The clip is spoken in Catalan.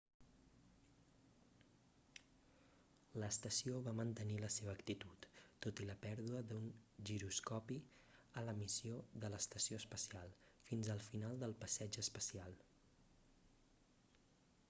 l'estació va mantenir la seva actitud tot i la pèrdua d'un giroscopi a la missió de l'estació espacial fins al final del passeig espacial